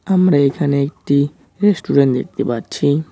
আমরা এখানে একটি রেস্টুরেন্ট দেখতে পাচ্ছি।